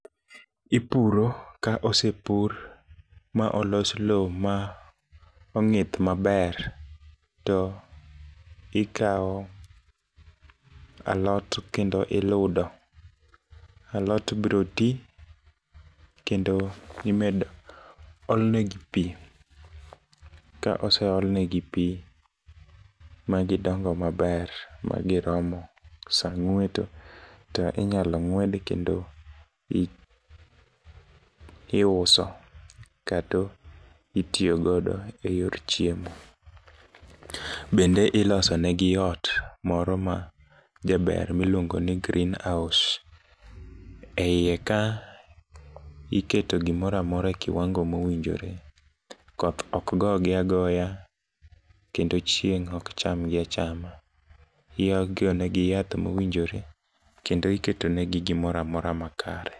Ipuro. Ka osepur ma olos lowo ma ong'ith maber, to ikawo alot kendo iludo. Alot biro ti, kendo imedo olne gi pi, ka ose ol negi pi, magidongo maber, ma giromo sa ng'weto, to inyalo ng'wedi kendo iuso kata itiyo godo e yor chiemo. Bende iloso negi ot moro majaber miluongo ni greenhouse. E iye ka, iketo gimoro amora e kiwango mowinjore. Koth ok gogi agoya, kendo chieng' ok cham gi achama. Igonegi yath mowinjore kendo iketo negi gimora mora makare.